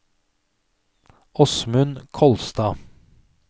Åsmund Kolstad